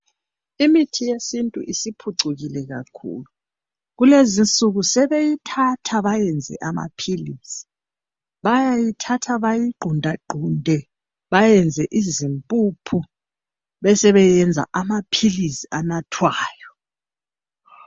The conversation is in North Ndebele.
imithi yesintu isiphucukile kakhulu kulezi insuku sebeyithatha bayenze ama philisi bayithatha bayi qunta qunte bayenze izimpuphu besebeyenza ama philisi anathwayo